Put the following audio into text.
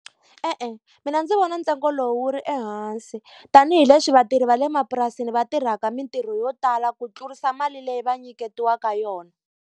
E-e mina ndzi vona ntsengo lowu wu ri ehansi, tanihileswi vatirhi va le mapurasini va tirhaka mintirho yo tala ku tlurisa mali leyi va nyiketiwaka yona.